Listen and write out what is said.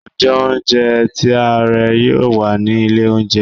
njé ounjẹ ti a ré yíò wá ni ilé oúnjẹ